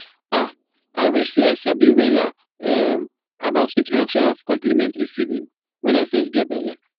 ah i wish seh i sabi wella um about introduction of complementary feeding when i fess geh belle